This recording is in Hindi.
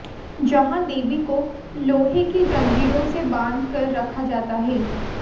जहां देवी को लोहे की जंजीरों से बांध कर रखा जाता है